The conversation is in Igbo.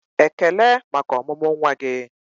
"Ekele maka ọmụmụ nwa gị!"